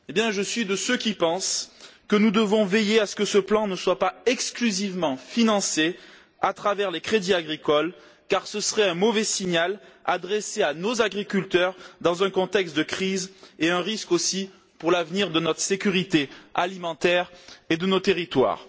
Je suis de ceux qui pensent que nous devons veiller à ce que ce plan ne soit pas exclusivement financé à travers les crédits agricoles, car ce serait un mauvais signal adressé à nos agriculteurs dans un contexte de crise et cela constituerait un risque également pour l'avenir de notre sécurité alimentaire et de nos territoires.